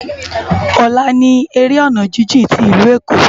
Òlá ni éré òná jijin ti Ilú Ékó